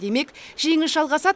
демек жеңіс жалғасады